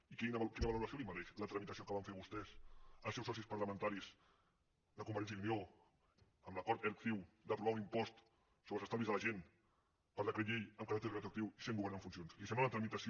i quina valoració li mereix la tramitació que van fer vostès els seus socis parlamentaris de convergència i unió amb l’acord erc ciu d’aprovar un impost sobre els estalvis de la gent per decret llei amb caràcter retroactiu i sent govern en funcions li sembla una tramitació